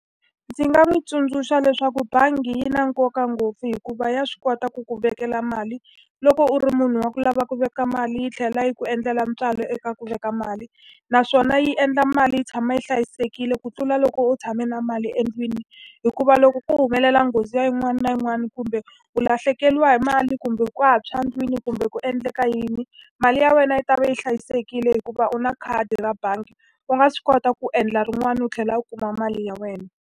Ndzi nga n'wi tsundzuxa leswaku bangi yi na nkoka ngopfu hikuva ya swi kota ku ku vekela mali, loko u ri munhu wa ku lava ku veka mali yi tlhela yi ku endlela ntswalo eka ku veka mali. Naswona yi endla mali yi tshama yi hlayisekile ku tlula loko u tshame na mali endlwini. Hikuva loko ko humelela nghozi ya yin'wana na yin'wana, kumbe u lahlekeriwa hi mali, kumbe ku ntshwa endlwini, kumbe ku endleka yini, mali ya wena yi ta va yi hlayisekile hikuva u na khadi ra bangi. U nga swi kota ku endla rin'wani u tlhela u kuma mali ya wena.